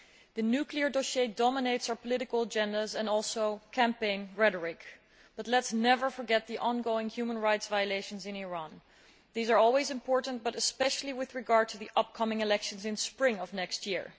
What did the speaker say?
The nuclear dossier dominates our political agendas and campaign rhetoric, but let us never forget the ongoing human rights violations in Iran. These are always important, but especially with regard to the upcoming elections in spring of next year.